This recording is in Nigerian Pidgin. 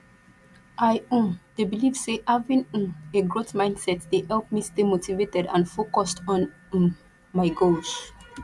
i um dey believe say having um a growth mindset dey help me stay motivated and focused on um my goals